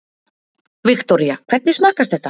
Viktoría: Hvernig smakkast þetta?